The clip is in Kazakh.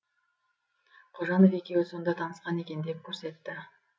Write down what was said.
қожанов екеуі сонда танысқан екен деп көрсетті